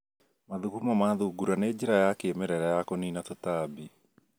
Mathugumo ma thungura nĩ njĩra ya kĩmerera ya kũnina tũtambi